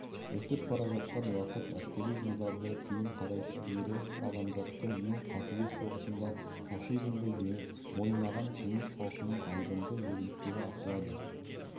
өтіп бара жатқан уақыт әскери жылдарды кейін қарай шигерсе адамзаттың ең қатыгез соғысында фашизмді жеңіп мойымаған кеңес халықының айбынды ерліктері ашылады